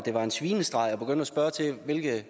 vi ikke